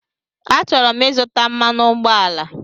Achọrọ m izuta mmanụ ụgbọala